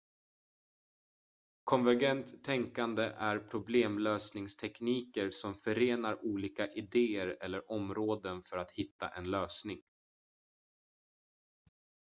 konvergent tänkande är problemlösningstekniker som förenar olika idéer eller områden för att hitta en lösning